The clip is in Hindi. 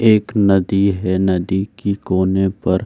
एक नदी है नदी की कोने पर --